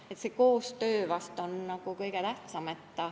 Nii et koostöö on vast kõige tähtsam.